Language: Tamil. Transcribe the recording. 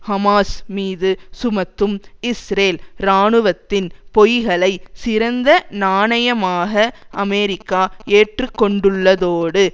ஹமாஸ் மீது சுமத்தும் இஸ்ரேல் இராணுவத்தின் பொய்களை சிறந்த நாணயமாக அமெரிக்கா ஏற்றுக்கொண்டுள்ளதோடு